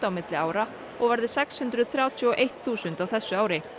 milli ára og verði sex hundruð þrjátíu og eitt þúsund á þessu ári